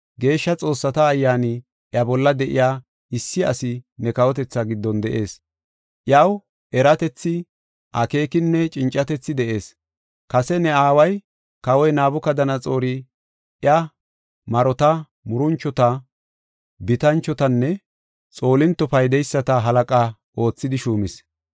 Geeshsha xoossata ayyaani iya bolla de7iya, issi asi ne kawotethaa giddon de7ees. Iyaw eratethi, akeekinne cincatethi de7ees. Kase ne aaway, kawoy Nabukadanaxoori iya, marota, muranchota, bitanchotanne xoolinto paydeyisata halaqa oothidi shuumis.